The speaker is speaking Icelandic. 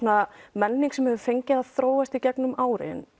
menning sem hefur fengið að þróast í gegnum árin